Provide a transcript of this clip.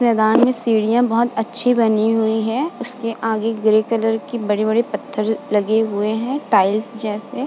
मैंदान में सीढ़ियां बोहोत अच्छी बनी हुई हैं। उसके आगे ग्रे कलर की बड़े-बड़े पत्थर लगे हुए हैं टाइल्स जैसे।